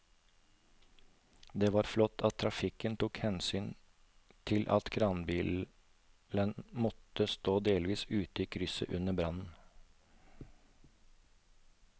Det var flott at trafikken tok hensyn til at kranbilen måtte stå delvis ute i krysset under brannen.